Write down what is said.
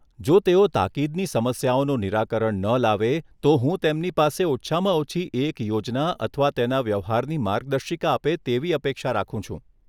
જો તેઓ તાકીદની સમસ્યાઓનું નિરાકરણ ન લાવે, તો હું તેમની પાસે ઓછામાં ઓછી એક યોજના અથવા તેના વ્યવહારની માર્ગદર્શિકા આપે તેવી અપેક્ષા રાખું છું.